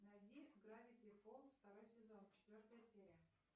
найди гравити фолз второй сезон четвертая серия